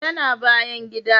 Ya na bayan gida